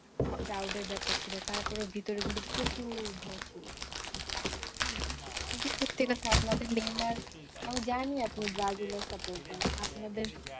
খুব proud এর ব্যাপার ছিল তারপরেও ভিতরে কিন্তু প্রচুর ভয় ছিল হম কিন্তু সত্যি কথা আপনাদের আমি জানি আপনি ব্রাজিলের supporter আপনাদের